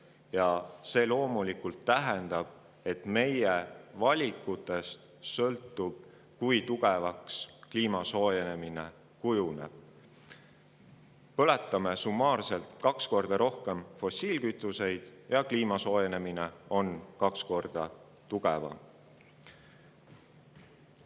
See tähendab loomulikult seda, et meie valikutest sõltub see, kui kliimasoojenemine kujuneb: põletame summaarselt kaks korda rohkem fossiilkütuseid ja kliimasoojenemine on samuti kaks korda.